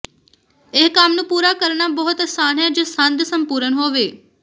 ਇਹ ਕੰਮ ਨੂੰ ਪੂਰਾ ਕਰਨਾ ਬਹੁਤ ਅਸਾਨ ਹੈ ਜੇ ਸੰਦ ਸੰਪੂਰਣ ਹੋਵੇ